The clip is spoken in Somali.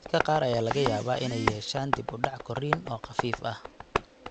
Dadka qaar ayaa laga yaabaa inay yeeshaan dib u dhac korriin oo khafiif ah.